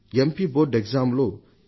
board పరీక్షలలో 89